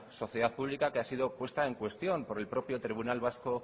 sociedad pública que ha sido puesta en cuestión por el propio tribunal vasco